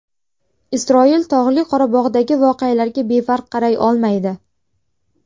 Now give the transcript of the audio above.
Isroil Tog‘li Qorabog‘dagi voqealarga befarq qaray olmaydi.